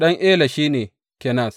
Ɗan Ela shi ne, Kenaz.